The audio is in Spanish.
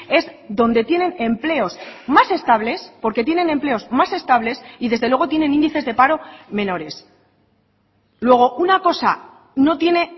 es donde tienen empleos más estables porque tienen empleos más estables y desde luego tienen índices de paro menores luego una cosa no tiene